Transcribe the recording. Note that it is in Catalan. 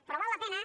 però val la pena